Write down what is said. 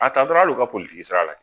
A ta dɔrɔ hal'u ka sira la